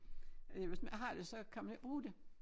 Øh hvis man ikke har det så kan man ikke bruge det